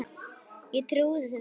Ég trúði þessu ekki.